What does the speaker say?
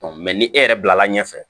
ni e yɛrɛ bilala ɲɛfɛ